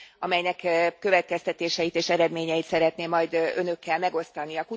amelynek következtetéseit és eredményeit szeretném majd Önökkel megosztani.